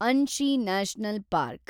Anshi national park